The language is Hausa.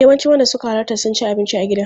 Yawancin wanda suka halarta sun ci abinci a gidan.